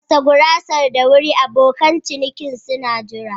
Gasa gurasar da wuri abokan ciniki suna jira.